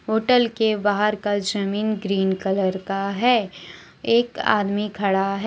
Hotel के बाहर का जमीन ग्रीन कलर का है एक आदमी खड़ा है।